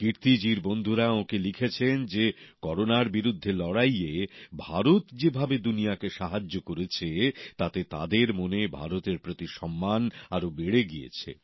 কীর্তি জির বন্ধুরা ওঁকে লিখেছেন যে করোনার বিরুদ্ধে লড়াইয়ে ভারত যেভাবে দুনিয়াকে সাহায্য করেছে তাতে তাদের মনে ভারতের প্রতি সম্মান আরও বেড়ে গিয়েছে